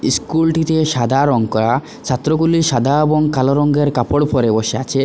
School টিতে সাদা রং করা ছাত্রগুলি সাদা এবং কালো রঙের কাপড় পরে বসে আছে।